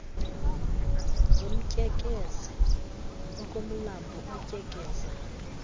zimtyekeze okomlambo utyekeza